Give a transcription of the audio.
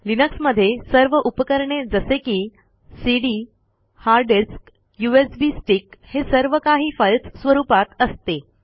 लिनक्समधे सर्व उपकरणे जसे की CD hard disk USB stick हे सर्व काही फाईलस स्वरूपात असते